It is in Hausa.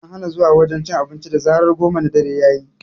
An hana zuwa wajen cin abinci da zarar goma na dare yayi